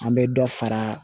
An bɛ dɔ fara